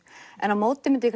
en á móti myndi